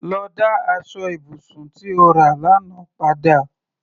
Lọ dá aṣọ ibùsùn tí o rà lánàá padà!